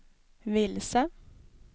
vilse